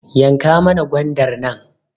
Yanka mana gwandar nan